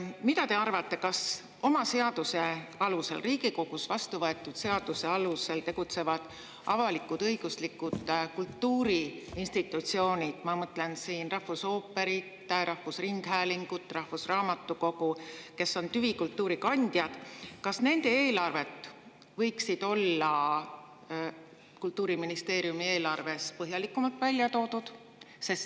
Mida te arvate, kas oma seaduse alusel, Riigikogus vastuvõetud seaduse alusel tegutsevate avalik-õiguslike kultuuriinstitutsioonide – ma mõtlen siin rahvusooperit, rahvusringhäälingut, rahvusraamatukogu, kes on tüvikultuuri kandjad – eelarved võiksid olla Kultuuriministeeriumi eelarves põhjalikumalt välja toodud?